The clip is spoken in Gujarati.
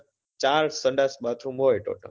ચાર સંડાસ bathroom હોય total